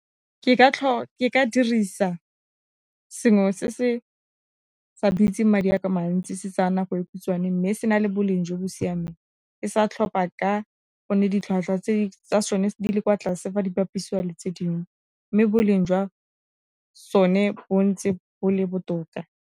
Ke ka dirisa sengwe se se sa bitse madi a mantsi, se tsayana go e khutshwane mme se na le boleng jo bo siameng, ke sa tlhopha ka gonne ditlhwatlhwa tse di kwa tlase ba di bapisiwa le tse dingw, e mme boleng jwa sone bo ntse bo le botoka.